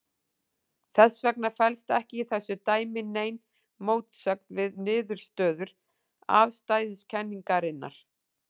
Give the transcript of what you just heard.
Þess vegna felst ekki í þessu dæmi nein mótsögn við niðurstöður afstæðiskenningarinnar.